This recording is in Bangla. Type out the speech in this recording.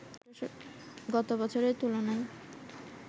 গত বছরের তুলনায়